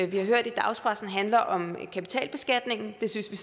vi har hørt i dagspressen handler om kapitalbeskatning det synes vi